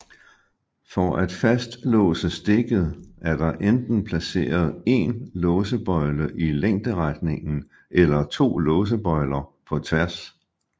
For at fastlåse stikket er der enten placeret én låsebøjle i længderetningen eller to låsebøjler på tværs